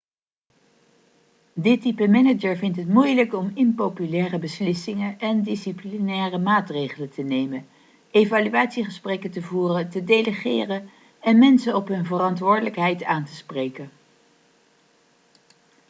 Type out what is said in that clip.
dit type manager vindt het moeilijk om impopulaire beslissingen en disciplinaire maatregelen te nemen evaluatiegesprekken te voeren te delegeren en mensen op hun verantwoordelijkheid aan te spreken